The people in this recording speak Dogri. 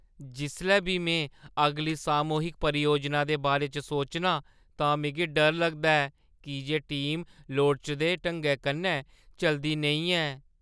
जिसलै बी में अगली सामूहिक परियोजना दे बारे च सोचना आं तां मिगी डर लगदा ऐ की जे टीम लोड़चदे ढंगै कन्नै चलदी नेईं ऐ।